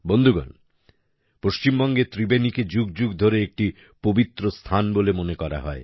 বন্ধুগণ পশ্চিমবঙ্গের ত্রিবেণীকে যুগ যুগ ধরে একটি পবিত্র স্থান বলে মনে করা হয়